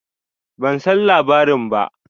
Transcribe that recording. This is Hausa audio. Ban san labarin ba.